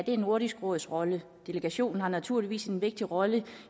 er nordisk råds rolle delegationen har naturligvis en vigtig rolle